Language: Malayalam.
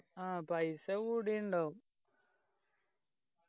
ആ പൈസ കൂടിണ്ടാവും